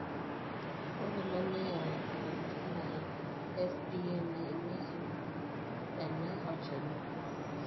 ore ena neyawua intokitin are FDA naimieki ena olchani.